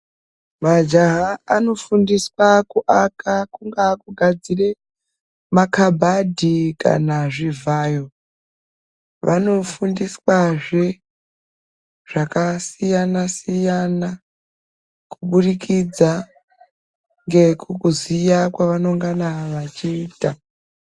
Majaha anofundiswa kuaka, kungaa kugadzire makhabhadhi kana zvivhayo. Vanofundiswazve, zvakasiyana-siyana , kuburikidza ngekuziya kwevanongana vachiita.